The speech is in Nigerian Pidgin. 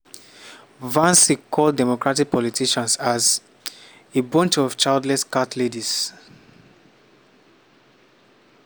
vance call democratic politicians as “a bunch of childless cat ladies".